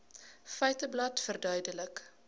feiteblad verduidelik